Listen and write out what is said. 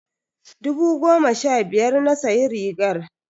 I bought the shirt fifteen thousand naira.